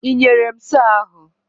Ị nyere m sọọ ahụ?